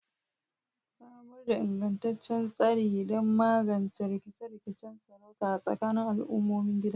Samar da ingantaccen tsari don magance rikice-rikicen sarauta a tsakanin al'ummomin gida.